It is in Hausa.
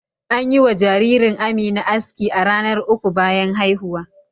An yi wa jaririr Amina aski a ranar uku bayan haihuwa.